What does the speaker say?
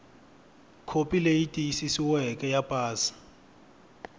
khopi leyi tiyisisiweke ya pasi